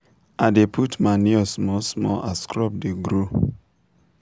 i dey put manure small small as crop dey grow.